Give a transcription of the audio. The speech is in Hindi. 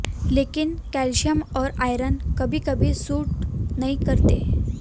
लेकिन कैल्शियम और आयरन कभी कभी सूट नहीं करते